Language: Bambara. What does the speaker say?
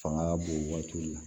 Fanga ka bon waati min na